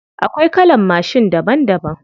Akwai kalan mashin daban daban.